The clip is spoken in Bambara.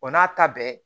Wa n'a ta bɛɛ